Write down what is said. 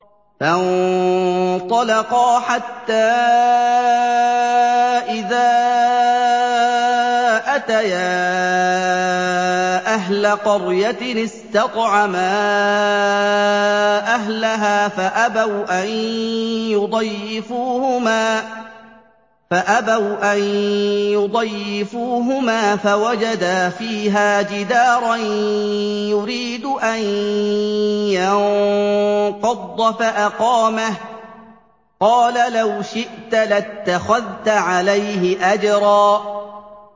فَانطَلَقَا حَتَّىٰ إِذَا أَتَيَا أَهْلَ قَرْيَةٍ اسْتَطْعَمَا أَهْلَهَا فَأَبَوْا أَن يُضَيِّفُوهُمَا فَوَجَدَا فِيهَا جِدَارًا يُرِيدُ أَن يَنقَضَّ فَأَقَامَهُ ۖ قَالَ لَوْ شِئْتَ لَاتَّخَذْتَ عَلَيْهِ أَجْرًا